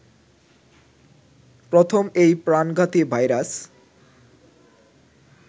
প্রথম এই প্রাণঘাতী ভাইরাস